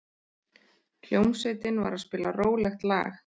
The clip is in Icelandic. Hljómsveitin var að spila rólegt lag.